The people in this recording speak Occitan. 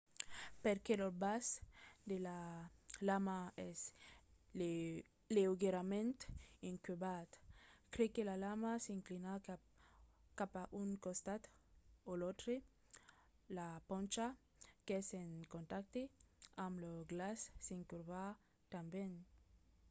perque lo bas de la lama es leugièrament incurvat tre que la lama s'inclina cap a un costat o l’autre la poncha qu'es en contacte amb lo glaç s’incurva tanben